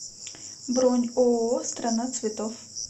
бронь ооо страна цветов